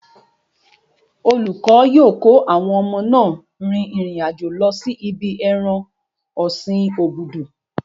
Olùkọ́ yóò kó àwọn ọmọ náà rin ìrìn àjò lọ sí ibi ẹran ọ̀sin obudu.